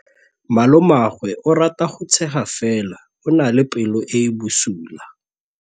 Malomagwe o rata go tshega fela o na le pelo e e bosula.